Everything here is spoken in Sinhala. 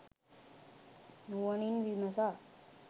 නුවණින් විමසා